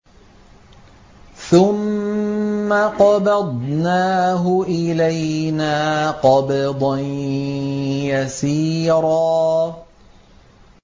ثُمَّ قَبَضْنَاهُ إِلَيْنَا قَبْضًا يَسِيرًا